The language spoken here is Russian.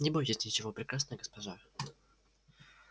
не бойтесь ничего прекрасная госпожа